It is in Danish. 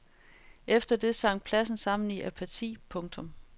Efter det sank pladsen sammen i apati. punktum